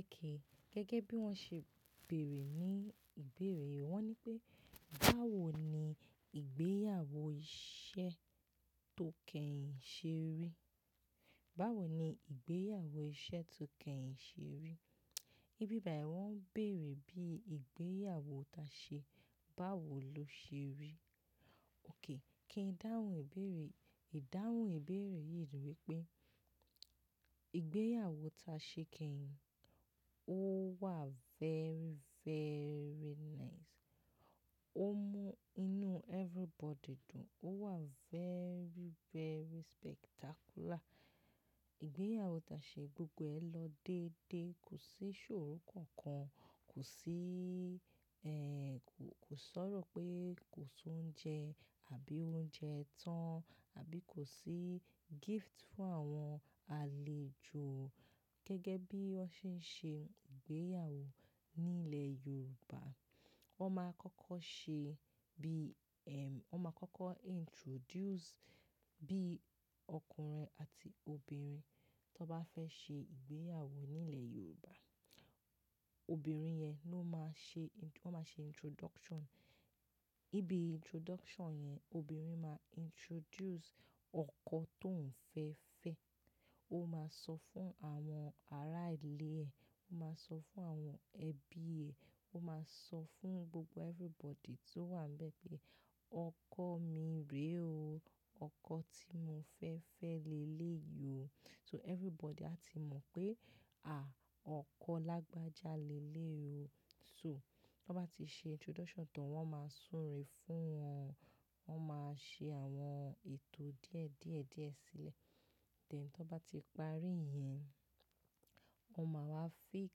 Okej, gẹ́gẹ́ bí wọ́n ṣe béèrè ní ìbéèrè, wọ́n ní pé báwo ni ìgbéyàwó iṣẹ́ tó kẹ́yìn ṣe rí? Báwo ni ìgbéyàwó iṣẹ́ tó kẹ́yìn ṣe rí? Ibíbàí wọ́n béèrè bí ìgbéyàwó tá se, báwo ló ṣe rí? Oke, kí n dáhùn ìbéèrè, ìdáhùn ìbéèrè yìí ni pé ìgbéyàwó tá se kẹhin, ó wà very, very nice. Ó mú inú everybody dùn. Ó wà very, very spectacular. Ìgbéyàwó tashe gbogbo ẹ̀ lọ dédé, kò sí ìṣòro kankan, kò sí, ẹ́, kò, kò sọ̀rọ̀ pé kò sí oúnjẹ àbí oúnjẹ tán àbí kò sí gift fún àwọn àlejò. Gẹ́gẹ́ bí wọ́n ṣe ń ṣe ìgbéyàwó nílẹ̀ Yorùbá, wọ́n máa kọ́kọ́ ṣe bí, ẹm, wọ́n máa kọ́kọ́ introduce bí ọkùnrin àti obìnrin tó bá fẹ́ ṣe ìgbéyàwó nílẹ̀ Yorùbá. Obìnrin yẹn ló máa ṣe, wọ́n máa ṣe introduction. Ibi introduction yẹn, obìnrin máa introduce ọkọ tó ń fẹ́ fẹ́. Ó máa sọ fún àwọn ará ìlé ẹ, ó máa sọ fún àwọn ẹbí ẹ, ó máa sọ fún gbogbo everybody tó wà níbẹ̀ pé ọkọ mi rè o, ọkọ tí mo fẹ́ fẹ́ lélè yìí o. So everybody a ti mọ̀ pé, à, ọkọ lágbájá lélèyìí o. So tí wọ́n bá ti ṣe introduction tán, wọ́n máa súre fún wọn. Wọ́n máa ṣe àwọn ètò díẹ̀ díẹ̀ díẹ̀ sílẹ̀. Then tí wọ́n bá ti parí ìyẹn, wọ́n máa wá fix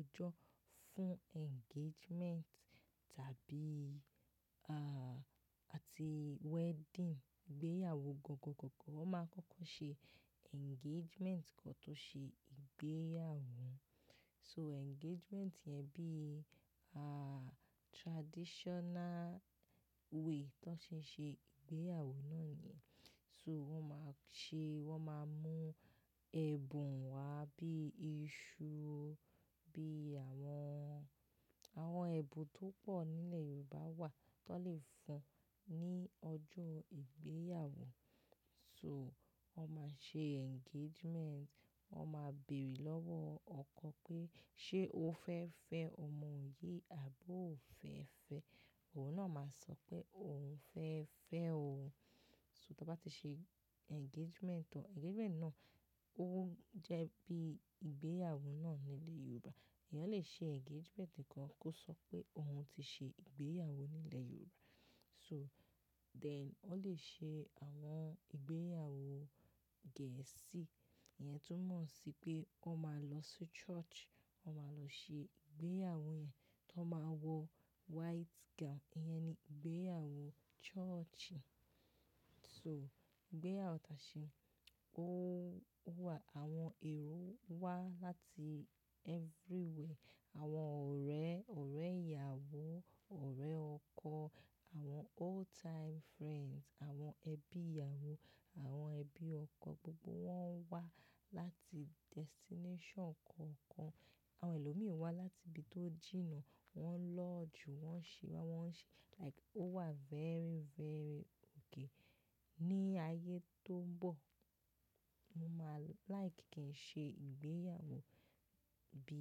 ọjọ́ fún engagement tàbí, à, àti wedding. Ìgbéyàwó gangan gangan, wọ́n máa kọ́kọ́ ṣe engagement kan tó ṣe ìgbéyàwó. So engagement yẹn bí, à, traditional way tó ṣe ń ṣe ìgbéyàwó náà ni. So wọ́n máa ṣe, wọ́n máa mú ẹ̀bùn wá bí i iṣu, bí àwọn, àwọn ẹ̀bùn tó pọ̀ nílẹ̀ Yorùbá wà tó lè fún ní ọjọ́ ìgbéyàwó. So wọ́n máa ṣe engagement, wọ́n máa bèèrè lọ́wọ́ ọkọ pé ṣé o fẹ́ fẹ́ ọmọ yìí àbí ò fẹ́ fẹ́? Òun náà máa sọ pé òun fẹ́ fẹ́ o. So tí wọ́n bá ti ṣe engagement tán, engagement náà ó jẹ́ bí ìgbéyàwó náà nílẹ̀ Yorùbá. Ìyẹn ó lè ṣe engagement kan kó sọ pé òun ti ṣe ìgbéyàwó nílẹ̀ Yorùbá. So then ó lè ṣe àwọn ìgbéyàwó Gẹ̀ẹ́sì yẹn tó mọ̀ sí pé wọ́n máa lọ sí church, wọ́n máa lọ ṣe ìgbéyàwó yẹn, tó máa wọ white gown. Ìyẹn ni ìgbéyàwó churchy. So ìgbéyàwó ta se, ó, ó wà, àwọn èrò wá láti everywhere. Àwọn ọ̀rẹ́, ọ̀rẹ́ ìyàwó, ọ̀rẹ́ ọkọ, àwọn old time friends, àwọn ẹbí ìyàwó, àwọn ẹbí ọkọ, gbogbo wọ́n ń wá láti destination kọ̀ọ̀kan. Àwọn ẹlòmíràn wá láti ibi tó jìnà, wọ́n lodge, wọ́n ṣe, wọ́n ṣe like ó wà very, very oke. Ní ayé tó ń bọ̀, mo máa like kí n ṣe ìgbéyàwó bí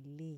elé.